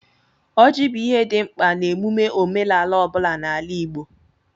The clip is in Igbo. Ọjị bụ ihe dị mkpa n'emume omenala ọ bụla n'ala Igbo.